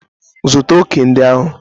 Zụta òkè ndị ahụ!